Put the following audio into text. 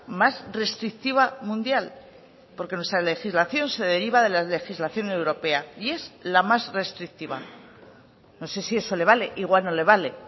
más restrictiva mundial porque nuestra legislación se deriva de la legislación europea y es la más restrictiva no sé si eso le vale igual no le vale